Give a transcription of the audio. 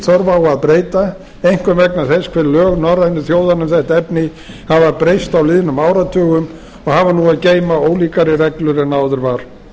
þörf á að breyta einkum vegna þess hve lög norrænu þjóðanna um þetta efni hafa breyst á liðnum áratugum og hafa nú að geyma ólíkari reglur en áður var